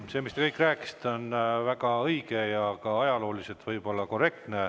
See, mis te rääkisite, on kõik väga õige ja võib-olla ka ajalooliselt korrektne.